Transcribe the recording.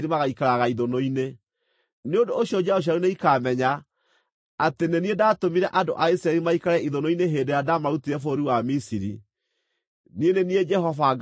nĩ ũndũ ũcio njiaro cianyu nĩikamenya atĩ nĩ niĩ ndaatũmire andũ a Isiraeli maikare ithũnũ-inĩ hĩndĩ ĩrĩa ndaamarutire bũrũri wa Misiri. Niĩ nĩ niĩ Jehova Ngai wanyu.’ ”